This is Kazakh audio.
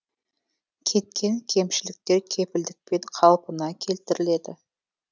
кеткен кемшіліктер кепілдікпен қалпына келтіріледі